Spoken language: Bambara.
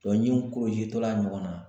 ɲiw tɔ la ɲɔgɔnna